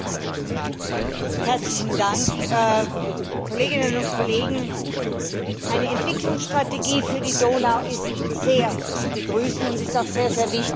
Frau Präsidentin, Kolleginnen und Kollegen! Eine Entwicklungsstrategie für die Donau ist sehr zu begrüßen und ist auch sehr wichtig.